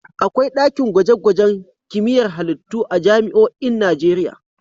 Akwai ɗakin gwaje-gwajen kimiyyar halittu a jami'oin Najeriya.